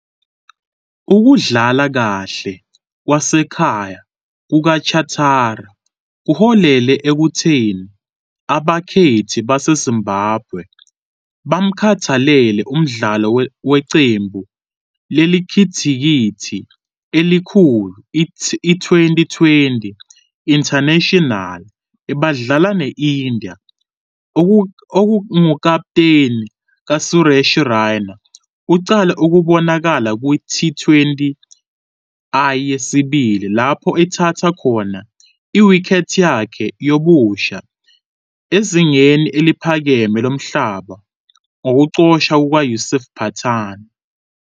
Ukudlala kahle kwasekhaya kukaChatara kuholele ekutheni abakhethi baseZimbabwe bamkhethele umdlalo weqembu lekhilikithi elikhulu iTwenty20 International bedlala ne-India, ongukaputeni kaSuresh Raina. Uqale ukubonakala kwi-T20I yesibili lapho ethathe khona i-wicket yakhe yobusha ezingeni eliphakeme lomhlaba ngokuxoshwa kuka- Yusuf Pathan.